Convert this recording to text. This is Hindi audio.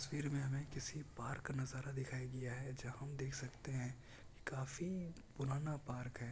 तस्वीर मैं हमे किसी पार्क का नजारा दिखायी दिया है जहा पर देख सकते है काफी पुराना पार्क है ।